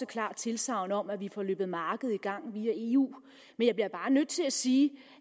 klart tilsagn om at vi får løbet markedet i gang via eu men jeg bliver bare nødt til at sige